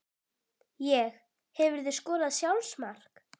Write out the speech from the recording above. Ég Hefurðu skorað sjálfsmark?